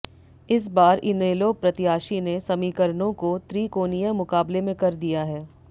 इस बार इनेलो प्रत्याशी ने समीकरणों को त्रिकोणीय मुकाबले में कर दिया है